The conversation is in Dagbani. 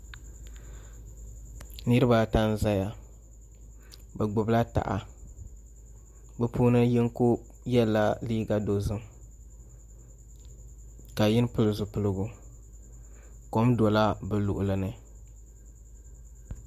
Niraba ata n ʒɛya bi gbubila taha bi puuni yinga yɛla liiga dozim ka yini pili zipiligu kom dola bi luɣuli ni